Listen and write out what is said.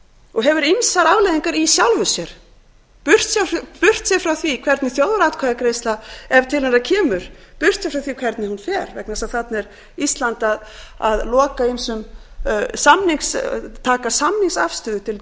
og hefur ýmsar afleiðingar í sjálfu sér burtséð frá því hvernig þjóðaratkvæðagreiðsla ef til hennar kemur burtséð frá því hvernig hún fer vegna þess að þarna er ísland að loka ýmsum samnings taka samningsafstöðu til gríðarmargra mála